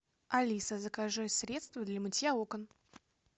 алиса закажи средство для мытья окон